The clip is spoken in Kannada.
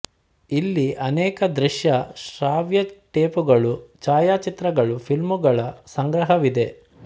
ಇಲ್ಲಿ ಅನೇಕ ದೃಶ್ಯ ಶ್ರಾವ್ಯ ಟೇಪುಗಳು ಛಾಯಾಚಿತ್ರಗಳು ಫಿಲಮ್ಮುಗಳ ಸಂಗ್ರಹವಿದೆ